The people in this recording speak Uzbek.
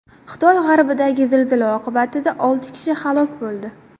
Xitoy g‘arbidagi zilzila oqibatida olti kishi halok bo‘ldi.